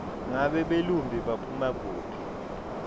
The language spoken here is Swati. ngabe belumbi baphuma kuphi